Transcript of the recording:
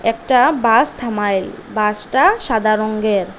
একটা বাস থামাইল বাসটা সাদা রঙ্গের।